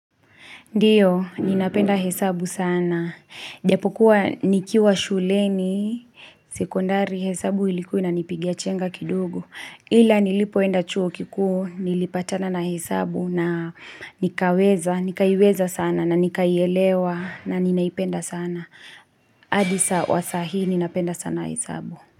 Ndiyo, ninapenda hesabu sana. Japokuwa nikiwa shuleni, sekondari hesabu ilikuwa ina nipiga chenga kidogo. Ila nilipoenda chuo kikuu, nilipatana na hesabu na nikaweza, nikaiweza sana na nikaielewa na ninaipenda sana. Hadisa wa sahi ninapenda sana hesabu.